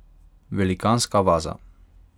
Velikanska vaza.